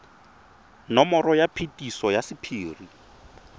nomoro ya phetiso ya sephiri